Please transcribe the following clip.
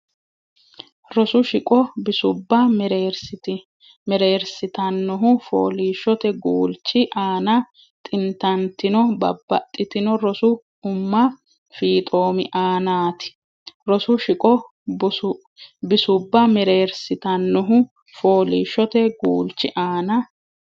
Rosu shiqo bisubba mereersitannohu fooliishshote guulchi aana xintantino babbaxxitino rosu umma fiixoomi aanaati Rosu shiqo bisubba mereersitannohu fooliishshote guulchi aana.